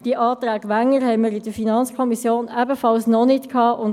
Die Anträge Wenger sind uns in der FiKo ebenfalls noch nicht vorgelegen.